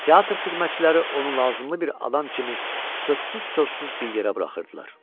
Teatr xidmətçiləri onu lazımlı bir adam kimi sözsüz-söhbətsiz bir yerə buraxırdılar.